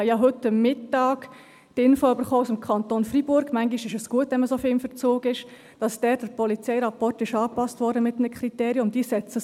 Ich habe heute Mittag die Info aus dem Kanton Freiburg erhalten – manchmal ist es gut, wenn man so stark in Verzug ist –, dass der Polizeirapport dort mit einem Kriterium angepasst wurde.